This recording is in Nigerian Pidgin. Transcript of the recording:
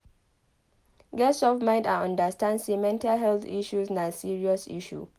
Get soft mind and understand sey mental health issues na serious issue